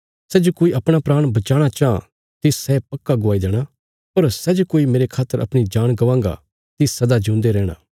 सै जे कोई अपणा प्राण बचाणा चाँह तिस सै पक्का गवाई देणा पर सै जे कोई मेरे खातर अपणी जान गवांगा तिस सदा जिऊंदा रैहणा